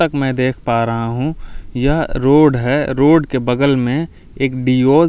तक मै देख पा रहा हूँ यह रोड है रोड के बगल में बियोष हॉस्पिटल ।